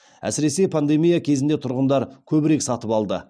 әсіресе пандемия кезінде тұрғындар көбірек сатып алды